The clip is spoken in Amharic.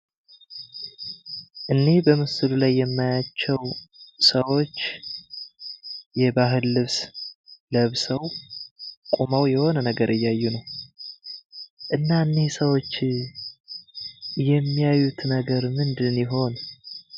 እኒ በምስሉ ላይ የማያቸው ሰዎች የባህል ልብስ ለብሰው ቆመው የሆነ ነገር እያዩ ነው። እና እኒህ ሰዎች የሚያዩት ነገር ምንድን ይሆን?